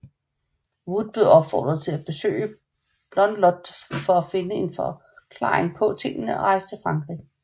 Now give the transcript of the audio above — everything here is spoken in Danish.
Wood blev opfordret til at besøge Blondlot for at finde en forklaring på tingene og rejste til Frankrig